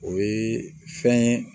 O ye fɛn ye